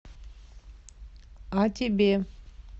а тебе